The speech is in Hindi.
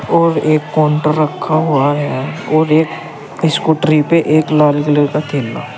और एक काउंटर रखा हुआ है और एक स्कूटरी पर एक लाल कलर का थैला--